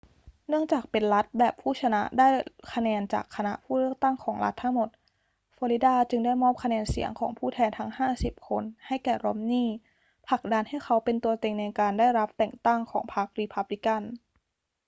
เนื่องจากเป็นรัฐแบบผู้ชนะได้คะแนนจากคณะผู้เลือกตั้งของรัฐทั้งหมด ฟลอริดาจึงได้มอบคะแนนเสียงของผู้แทนทั้งห้าสิบคนให้แก่รอมนีย์ ผลักดันให้เขาเป็นตัวเต็งในการได้รับแต่งตั้งของพรรครีพับลิกัน